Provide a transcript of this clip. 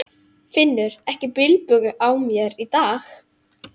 Finnur ekki bilbug á mér í dag.